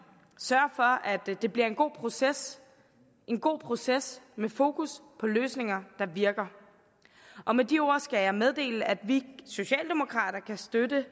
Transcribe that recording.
sørge for at det bliver en god proces en god proces med fokus på løsninger der virker og med de ord skal jeg meddele at vi socialdemokrater kan støtte